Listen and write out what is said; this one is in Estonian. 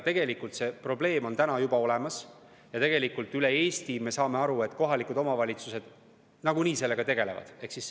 Tegelikult see probleem on juba olemas ja üle Eesti, me saame aru, kohalikud omavalitsused nagunii sellega tegelevad.